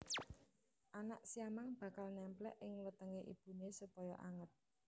Anak siamang bakal némplék ing wetengé ibuné supaya anget